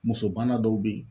Muso bana dɔw be ye